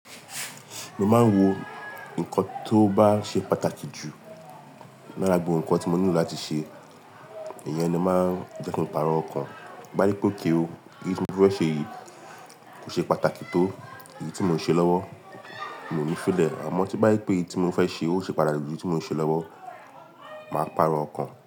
Mo máa ń wo nnkan tó bá ṣe pàtàkì jù lára gbogbo nnkan tí mo nílò láti ṣe. Ìyẹn ni máa ń jẹ́ kí ń pàrọ̀ ọ̀kan. Bí bá rí pé okay ó, èyí tí mo fẹ́ ṣe yìí kò ṣe pàtàkì tó èyí tí mò ń ṣe lọ́wọ́, mi ò ní fílẹ̀. Àmọ́ ti bá rí pé èyí tí mo fẹ́ ṣe ò ṣe pàtàkì jù èyí tí mò ń ṣe lọ́wọ́, màá pàrọ̀ ọ̀kan.